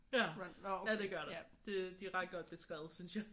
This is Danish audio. Ja. Ja det gør der. Det de er ret godt beskrevet synes jeg